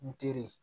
N teri